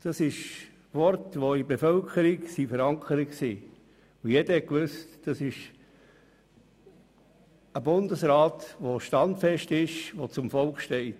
Diese Worte wurden in der Bevölkerung verankert und jeder wusste, dass es sich dabei um einen Bundesrat handelte, der standfest ist und zum Volk steht.